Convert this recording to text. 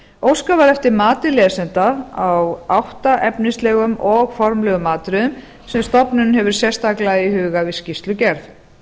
óskað var eftir mati lesenda á átta efnislegum og formlegum atriðum sem stofnunin hefur sérstaklega í huga við skýrslugerð